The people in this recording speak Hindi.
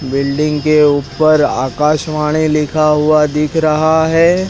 बिल्डिंग के ऊपर आकाशवाणी लिखा हुआ दिख रहा है।